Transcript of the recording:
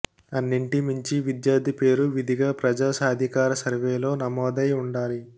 అన్నింటి మించి విద్యార్థి పేరు విధిగా ప్రజా సాధికార సర్వేలో నమోదై ఉండాలి